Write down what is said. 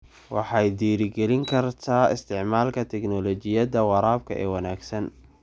Waxay dhiirigelin kartaa isticmaalka tignoolajiyada waraabka ee wanaagsan.